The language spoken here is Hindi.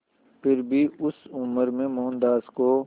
फिर भी उस उम्र में मोहनदास को